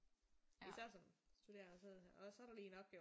Især som studerende og så er der lige en opgave